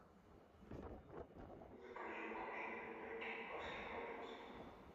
закажи мороженое в ведерке баскин роббинс